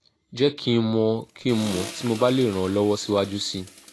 je ki n mo ki n mo ti mo ba le ran o lowo siwaju si i